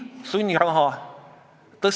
Prantsusmaal näiteks ei tohi seale panna nimeks Napoleon.